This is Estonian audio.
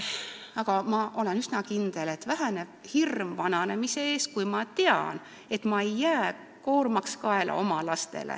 Aga ma olen üsna kindel, et hirm vananemise ees väheneb, sest teatakse, et ei jääda oma lastele koormaks kaela.